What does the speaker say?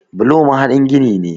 Bulo mahaɗin gini ne.